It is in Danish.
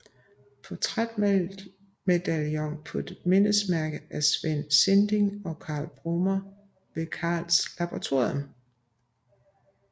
Portrætmedaljon på mindesmærke af Svend Sinding og Carl Brummer ved Carlsberg Laboratorium